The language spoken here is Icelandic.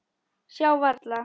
Sjá varla.